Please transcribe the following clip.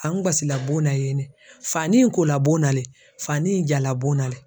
A n gasi la bon na yen de fani ye kola bon na de fani ye jala bon na de.